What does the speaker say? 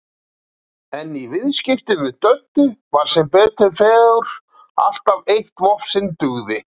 En í viðskiptum við Döddu var sem betur fór alltaf eitt vopn sem dugði.